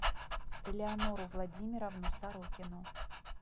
элеонору владимировну сорокину